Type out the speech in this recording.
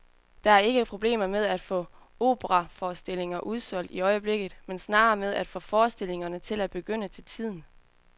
Der er ikke problemer med at få operaforestillinger udsolgt i øjeblikket, men snarere med at få forestillingerne til at begynde til tiden.